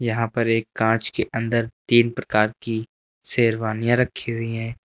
यहां पर एक कांच के अंदर तीन प्रकार की सेरवानीया रखी हुई है।